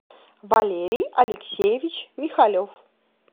валерий алексеевич михалев